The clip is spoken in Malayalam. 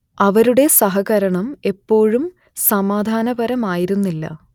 അവരുടെ സഹകരണം എപ്പോഴും സമാധാനപരമായിരുന്നില്ല